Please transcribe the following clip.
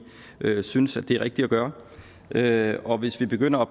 synes at det er rigtigt at gøre det og hvis vi begynder at